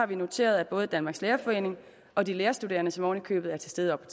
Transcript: vi noteret at både danmarks lærerforening og de lærerstuderende som oven i købet er til stede oppe